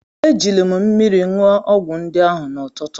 Ejiri m mmiri ṅụọ ọgwụ ndị ahụ n’ụtụtụ.